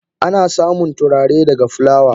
Ana samun turare daga fulawa.